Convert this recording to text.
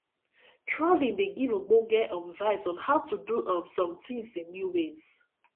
travelling dey give ogbonge um vibes on how to do um some things in new ways